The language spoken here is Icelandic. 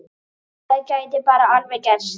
Það gæti bara alveg gerst!